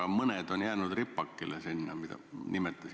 Miks mõned asjad on nagu ripakile jäänud?